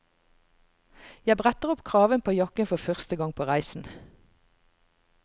Jeg bretter opp kraven på jakken for første gang på reisen.